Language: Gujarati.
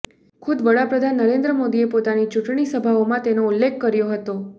ખુદ વડાપ્રધાન નરેન્દ્ર મોદીએ પોતાની ચૂંટણી સભાઓમાં તેનો ઉલ્લેખ કર્યો હતો